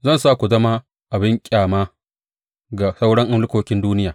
Zan sa ku zama abin ƙyama ga sauran mulkokin duniya.